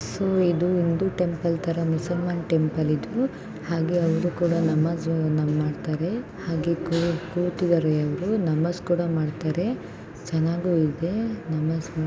so ಇದು ಒಂದು temple ತರ ಮುಸ್ಲಿಂ ಟೆಂಪಲ್‌ ಹಾಗೇ ಅವರು ಬಂದಾಗ ನಮಾಜ್‌ ಮಾಡ್ತಾರೆ ಹಾಗೇ ಕೂತಿದ್ದಾರೆ ನಮಾಜ್‌ ಕೂಡ ಮಾಡ್ತಾರೆ ಚೆನ್ನಾಗಿಯು ಇದೆ ನಮಾಜ್‌ ಮಾಡ್ತಾರೆ